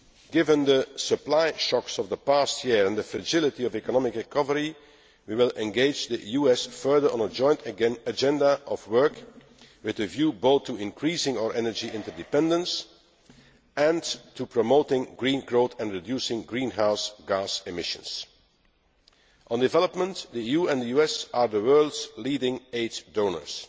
Given the supply shocks of the past year and the fragility of economic recovery, we will engage the US further on a joint agenda of work with a view both to increasing our energy interdependence and to promoting green growth and reducing greenhouse gas emissions. On development, the EU and the US are the world's leading aid donors.